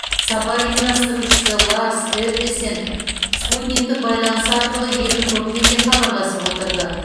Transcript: сапар ұйымдастырушысы ларс эббесен спутниктік байланыс арқылы екі топпен де хабарласып отырды